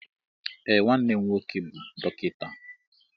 Ee nwannem nwoke bu dọkịta.